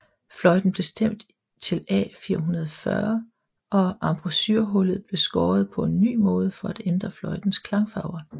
Fløjten blev stemt til A440 og embouchurehullet blev skåret på en ny måde for at ændre fløjtens klangfarver